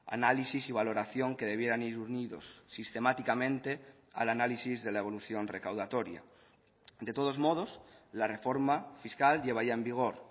análisis y valoración que debieran ir unidos sistemáticamente al análisis de la evolución recaudatoria de todos modos la reforma fiscal lleva ya en vigor